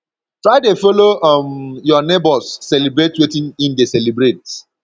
try de follow um your neighbors celebrate wetin in de celebrate